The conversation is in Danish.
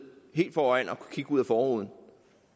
helt foran og kigge ud af forruden